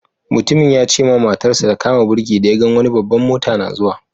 Mutumin ya ce ma matar sa ta kama birki da ya gan wani babban mota na zuwa.